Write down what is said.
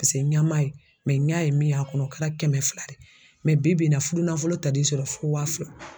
Paseke ɲa m'a ye ɲa ye min y'a kɔnɔ o kɛra kɛmɛ fila de ye bi bi in na fudu nafolo tal'i sɔrɔ fo wa fila.